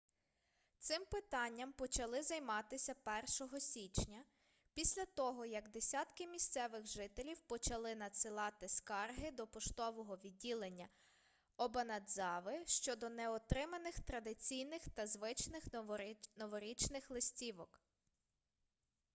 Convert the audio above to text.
цим питанням почали займатися 1-го січня після того як десятки місцевих жителів почали надсилати скарги до поштового відділення обанадзави щодо неотриманих традиційних та звичних новорічних листівок